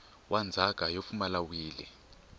wa ndzhaka yo pfumala wili